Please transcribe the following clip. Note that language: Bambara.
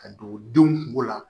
Ka don denw kungo la